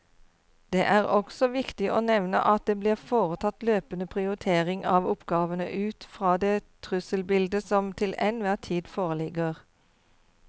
Det er også viktig å nevne at det blir foretatt løpende prioritering av oppgavene ut fra det trusselbildet som til enhver tid foreligger.